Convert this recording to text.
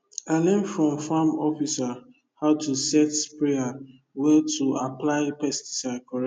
i learn from farm officer how to set sprayer well to apply pesticide correct